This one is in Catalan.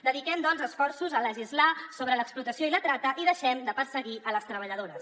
dediquem doncs esforços a legislar sobre l’explotació i la trata i deixem de perseguir les treballadores